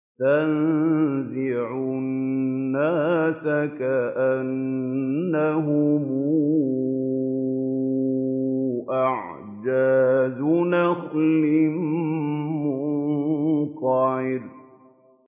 تَنزِعُ النَّاسَ كَأَنَّهُمْ أَعْجَازُ نَخْلٍ مُّنقَعِرٍ